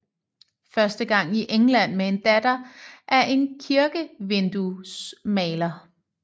Første gang i England med en datter af en kirkevinduesmaler